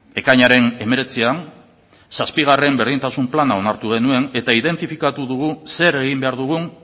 ekainaren hemeretzian zazpigarren berdintasun plana onartu genuen eta identifikatu dugu zer egin behar dugun